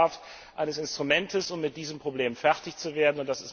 Es bedarf eines Instruments, um mit diesem Problem fertig zu werden.